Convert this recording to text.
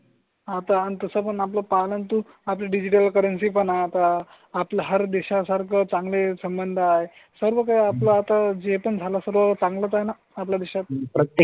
आता अन तसं पण आपण पालन तू आपली डिजिटल करन्सी. पण आता आपण हर देशा सारखे चांगले संबंध आहे. सर्व काही आपला आता जे पण झाला सर्व चांगलं आहे ना आपल्या देशात? प्रत्येक